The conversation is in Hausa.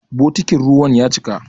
Bokitin ruwan ya cika.